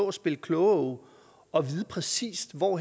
og spille klogeåge og vide præcis hvor